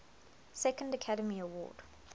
second academy award